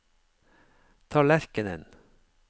tallerkenen